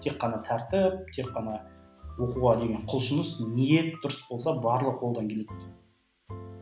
тек қана тәртіп тек қана оқуға деген құлшыныс ниет дұрыс болса барлығы қолдан келеді